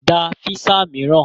Gba físà mìíràn!